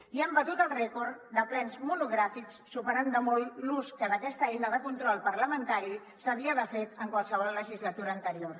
i han batut el rècord de plens monogràfics superant de molt l’ús que d’aquesta eina de control parlamentari s’havia fet en qualsevol legislatura anterior